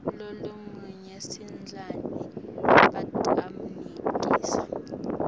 lolomunye sidlani batammikisa